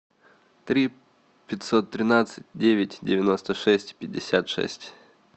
три пятьсот тринадцать девять девяносто шесть пятьдесят шесть